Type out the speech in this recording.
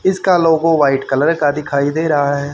इसका logo white colour का दिखाई दे रहा है।